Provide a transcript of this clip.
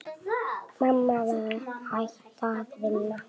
Mamma var hætt að vinna.